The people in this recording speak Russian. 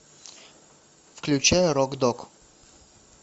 включай рок дог